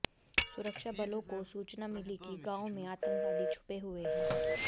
सुरक्षा बलों को सूचना मिली कि गांव में आतंकवादी छुपे हुए हैं